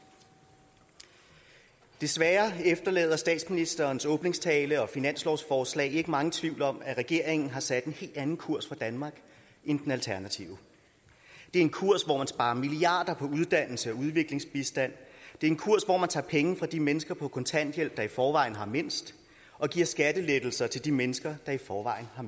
desværre efterlader statsministerens åbningstale og finanslovsforslaget ikke megen tvivl om at regeringen har sat en helt anden kurs for danmark end den alternative det er en kurs hvor man sparer milliarder på uddannelse og udviklingsbistand det er en kurs hvor man tager penge fra de mennesker på kontanthjælp der i forvejen har mindst og giver skattelettelser til de mennesker der i forvejen har